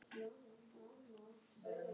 Hvers vegna ekki hærri fjárhæð?